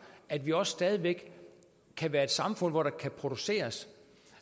at vi også stadig væk kan være et samfund hvor der kan produceres